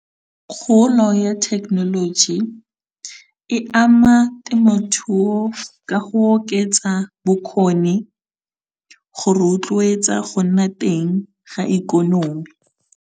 Kgolo ya technology e ama temothuo ka go oketsa bokgoni, go rotloetsa go nna teng ga ikonomi.